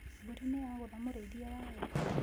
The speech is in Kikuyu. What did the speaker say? Mbũri nĩ yagũtha mũrĩithia wayo